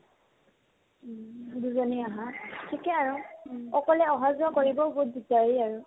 দুজনীয়ে আহা ঠিকে আৰু অকলে অহা-যোৱা কৰিবও বহুত দিগদাৰী হয় ন